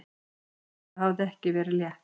Þetta hafði ekki verið létt.